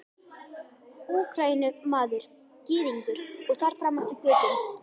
Úkraínumaður, Gyðingur og þar fram eftir götum.